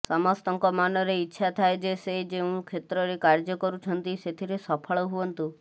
ସମସ୍ତଙ୍କ ମନରେ ଇଚ୍ଛା ଥାଏ ଯେ ସେ ଯେଉଁ କ୍ଷେତ୍ରରେ କାର୍ଯ୍ୟ କରୁଛନ୍ତି ସେଥିରେ ସଫଳ ହୁଅନ୍ତୁ